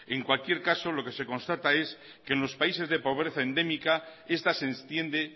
en cualquier caso lo que se constata es que en los países de pobreza endémica esta se extiende